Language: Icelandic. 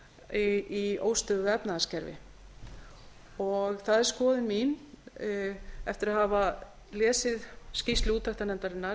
lífeyrissjóðakerfi í óstöðugu efnahagskerfi það er skoðun mín eftir að hafa lesið skýrslu úttektarnefndarinnar